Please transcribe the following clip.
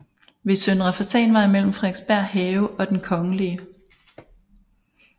Ved Søndre Fasanvej mellem Frederiksberg Have og Den kgl